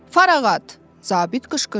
Farağat, zabit qışqırdı.